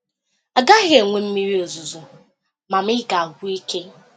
A gaghị enwe mmiri ozuzo, ma ma ị ga-agwụ ike.